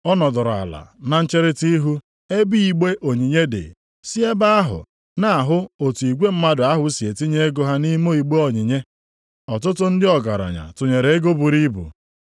Ọ nọdụrụ ala na ncherita ihu ebe igbe onyinye dị, sị ebe ahụ na-ahụ otu igwe mmadụ ahụ si etinye ego ha nʼime igbe onyinye. Ọtụtụ ndị ọgaranya tụnyere ego buru ibu.